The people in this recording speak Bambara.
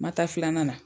Ma taa filanan na